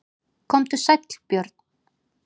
Komdu sæll Björn.